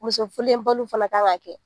Muso urulenbali fana kan k'a kɛ..